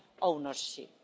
ownership.